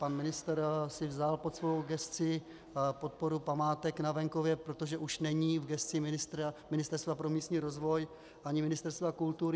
Pan ministr si vzal pod svou gesci podporu památek na venkově, protože už není v gesci Ministerstva pro místní rozvoj ani Ministerstva kultury.